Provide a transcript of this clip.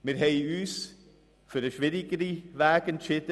Wir haben uns für den schwierigeren Weg entschieden.